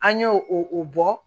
An y'o o o bɔ